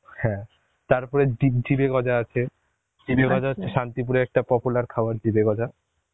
হ্যাঁ তারপর দীপ জিভে গজা আছে, জিভে গজা হচ্ছে শান্তিপুরের একটা popular খাবার জিভে গজা